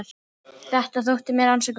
Þetta þótti mér ansi gott.